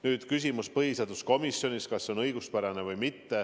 Nüüd küsimus põhiseaduskomisjoni otsuse kohta: kas on õiguspärane või mitte.